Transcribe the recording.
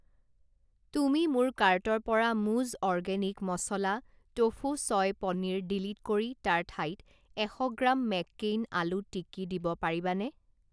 তুমি মোৰ কাৰ্টৰ পৰা মুজ অৰ্গেনিক মছলা টোফু ছয় পনীৰ ডিলিট কৰি তাৰ ঠাইত এশ গ্ৰাম মেক্কেইন আলু টিকি দিব পাৰিবানে?